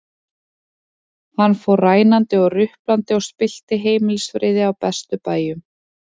Hann fór rænandi og ruplandi og spillti heimilisfriði á bestu bæjum.